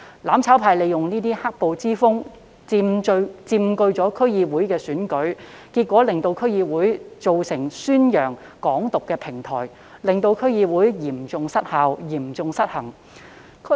"攬炒派"利用"黑暴"之風佔據區議會選舉，結果令區議會成為宣揚"港獨"的平台，令區議會嚴重失效、嚴重失衡。